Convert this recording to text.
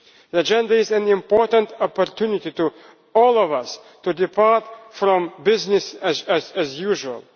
this. The agenda is an important opportunity for all of us to depart from business as usual.